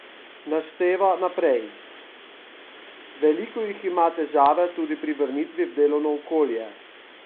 Našteva naprej: "Veliko jih ima težave tudi pri vrnitvi v delovno okolje.